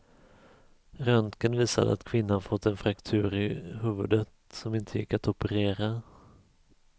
Röntgen visade att kvinnan fått en fraktur i huvudet som inte gick att operera.